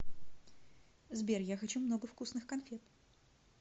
сбер я хочу много вкусных конфет